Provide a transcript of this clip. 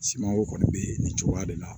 Simanko kɔni bɛ nin cogoya de la